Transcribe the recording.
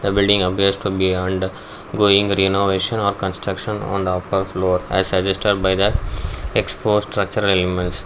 the building appears to be and going renovation or construction on the upper floor as suggested by the exposed structural elements.